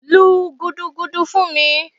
lú gúdúgúdú fún mí!